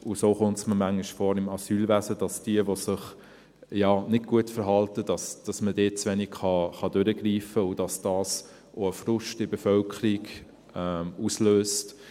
So kommt es mir manchmal vor im Asylwesen, dass man bei denen, die sich nicht gut verhalten, zu wenig durchgreifen kann und dass das auch einen Frust in der Bevölkerung auslöst.